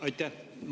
Aitäh!